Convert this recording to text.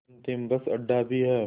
अंतिम बस अड्डा भी है